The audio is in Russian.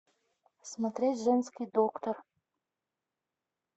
смотреть женский доктор